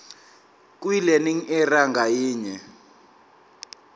kwilearning area ngayinye